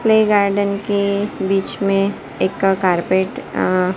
play garden के बीच में एक कारपेट अं--